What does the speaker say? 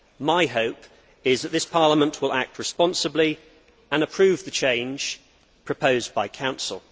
My hope is that this Parliament will act responsibly and approve the change proposed by Council.